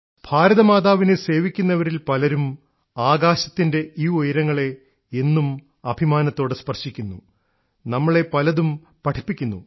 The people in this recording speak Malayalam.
ഭാരതമാതാവിനെ സേവിക്കുന്നവരിൽ പലരും ആകാശത്തിൻറെ ഈ ഉയരങ്ങളെ എന്നും അഭിമാനത്തോടെ സ്പർശിക്കുന്നു നമ്മളെ പലതും പഠിപ്പിക്കുന്നു